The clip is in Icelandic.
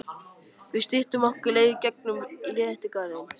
Við styttum okkur leið í gegn um Letigarðinn.